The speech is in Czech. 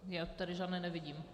Já tady žádné nevidím.